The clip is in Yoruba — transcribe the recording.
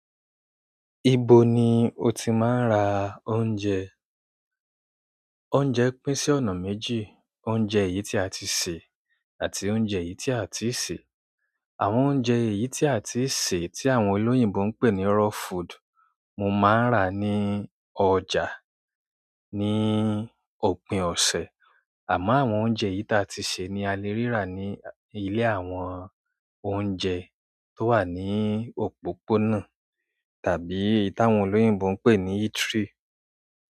Ibo ni o ti máa ń rà oúnjẹ? Oúnjẹ pín sí ọ̀nà méjì, oúnjẹ èyí tí a ti sè àti oúnjẹ èyí tí a ò tíì sè. Àwọn oúnjẹ èyí tí a ti sè, tí àwọn olóyìnbó ń pè ní raw food, mo máa ń rà ní ọjà, ní òpin ọ̀sẹ̀. Àmọ́ àwọn oúnjẹ yìí t'a ti sè ni a lè rí rà ní ilé àwọn oúnjẹ tó wà ní òpópónà tàbí èyí táwọn olóyìnbò ń pè ní eatery.